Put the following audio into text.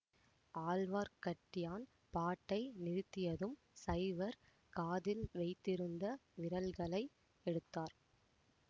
ஆழ்வார்க்கட்டியான் பாட்டை நிறுத்தியதும் சைவர் காதில் வைத்திருந்த விரல்களை எடுத்தார்